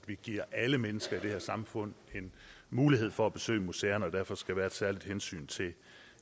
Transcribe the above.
vi giver alle mennesker i det her samfund en mulighed for at besøge museerne og derfor skal være et særligt hensyn til